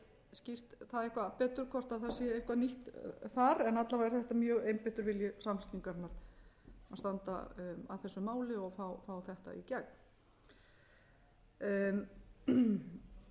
skýrt það eitthvað betur hvort það sé eitthvað nýtt þar en alla vega er þetta mjög einbeittur vilji samfylkingarinnar að standa að þessu máli og fá þetta í gegn